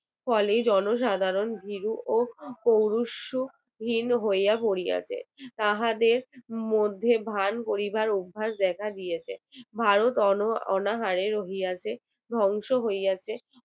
ফলে জনসাধারণ ভীরু ও কৌরুসুক হীন হইয়া পড়িয়াছে তাহাদের মধ্যে ধান করিবার অভ্যাস দেখা দিয়েছে ভারত অনাহারের হইয়াছে ধ্বংস হইয়াছে